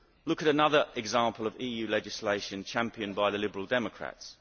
Look at another example of EU legislation championed by the Liberal Democrats.